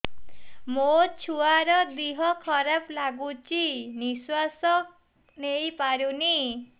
ମୋ ଛୁଆର ଦିହ ଖରାପ ଲାଗୁଚି ନିଃଶ୍ବାସ ନେଇ ପାରୁନି